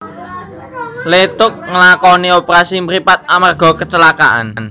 Leeteuk ngelakoni operasi mripat amarga kecelakaan